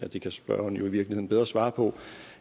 det kan spørgeren jo i virkeligheden bedre svare på